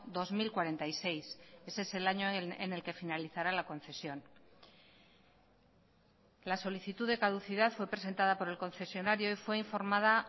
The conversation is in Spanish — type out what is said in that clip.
dos mil cuarenta y seis ese es el año en el que finalizará la concesión la solicitud de caducidad fue presentada por el concesionario fue informada